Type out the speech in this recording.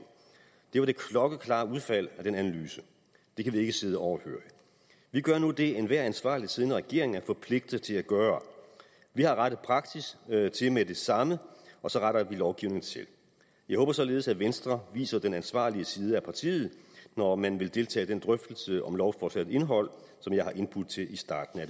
det var det klokkeklare udfald af den analyse det kan vi ikke sidde overhørig vi gør nu det enhver ansvarlig siddende regering er forpligtet til at gøre vi har rettet praksis til med det samme og så retter vi lovgivningen til jeg håber således at venstre viser den ansvarlige side af partiet når man vil deltage i den drøftelse om lovforslagets indhold som jeg har indbudt til i starten af